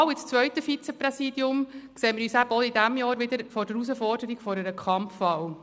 Für die Wahl ins zweite Vizepräsidium sehen wir uns auch in diesem Jahr wieder vor der Herausforderung einer Kampfwahl.